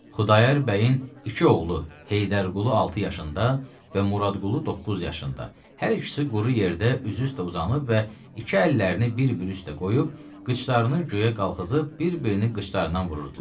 Xudayar bəyin iki oğlu, Heydərqulu 6 yaşında və Muradqulu 9 yaşında, hər ikisi quru yerdə üzü üstə uzanıb və iki əllərini bir-bir üstə qoyub, qıçlarını göyə qaxızıb bir-birini qıçlarından vururdular.